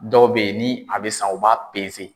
Dɔw bɛ ye ni a bɛ san u b'a